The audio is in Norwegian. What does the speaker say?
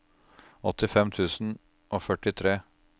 åttifem tusen og førtitre